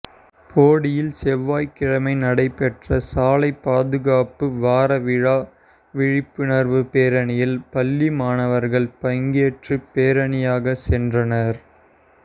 போடியில் செவ்வாய் கிழமை நடைபெற்ற சாலை பாதுகாப்பு வாரவிழா விழிப்புணா்வு பேரணியில் பள்ளி மாணவா்கள் பங்கேற்று பேரணியாக சென்றனா்